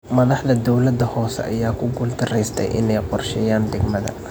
Madaxda dowladda hoose ayaa ku guuldareystay in ay u qorsheeyaan degmada.